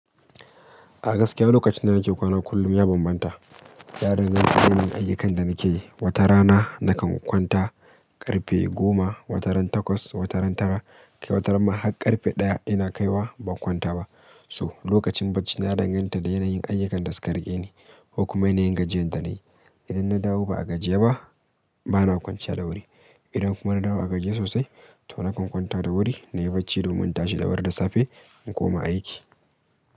A gaske lokacin da nake kwana kullum ya bambanta. Yaren zai fi wanan ayyukan da nake yi. Wata rana nakan kwanta, karfe goma, wata rana takwas, wata rana tara, kai wata rana har karfe ɗaya ina kaiwa ba kwanta ba. So lokacin bacci na danganta da yana yin ayyukan da su ka riƙe ni, ko kuma yana yin gajiyan da nayi, idan na dawo ba a gajiye ba, bana kwanciya da wuri. Idan kuma na dawo a gajiye sosai, to nakan kwanta da wuri, na yi bacci domin tashi da wuri da safe in koma ayyuki.